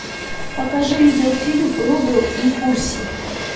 покажи видеофильм рудо и курси